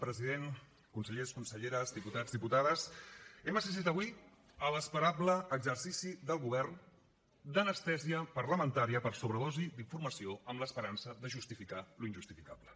president consellers conselleres diputats diputades hem assistit a l’esperable exercici del govern d’anestèsia parlamentaria per sobredosi d’informació amb l’esperança de justificar l’injustificable